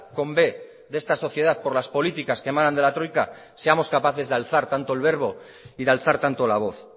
con b de esta sociedad por las políticas que emanan de la troika seamos capaces de alzar tanto el verbo y de alzar tanto la voz